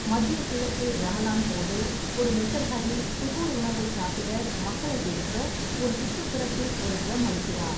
மத்திய கிழக்கில் ரமலான் போது, ஒரு மெசஹரதி சுகூர் உணவை சாப்பிட மக்களை எழுப்ப ஒரு சுற்றுப்புறத்தில் ஒரு டிரம் அடிக்கிறார்.